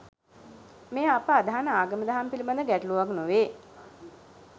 මෙය අප අදහන ආගම දහම පිලිබද ගැටලුවක් නොවේ.